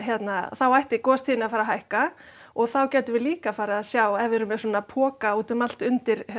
þá ætti gostíðni að fara að hækka og þá gætum við líka farið að sjá ef við erum með svona poka úti um allt undir